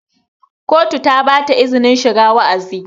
kotu ta ba izinin shiga wa'azi